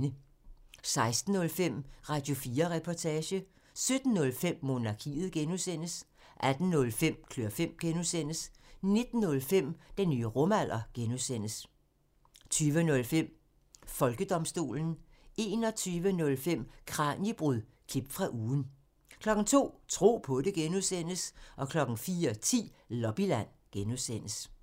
16:05: Radio4 Reportage 17:05: Monarkiet (G) 18:05: Klør fem (G) 19:05: Den nye rumalder (G) 20:05: Folkedomstolen 21:05: Kraniebrud – klip fra ugen 02:00: Tro på det (G) 04:10: Lobbyland (G)